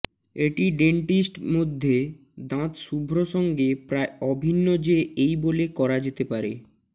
এটি ডেন্টিস্ট মধ্যে দাঁত শুভ্র সঙ্গে প্রায় অভিন্ন যে এই বলে করা যেতে পারে